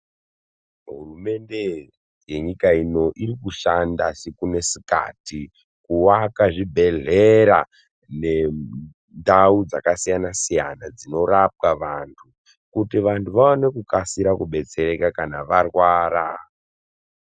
Hurumende yenyika ino iri kushanda siku nesikati kuaka zvibhendlera nendau dzakasiyana siyana dzinorapwa vantu. Kuti vantu vaone kukasira kubetsereka kana varwara.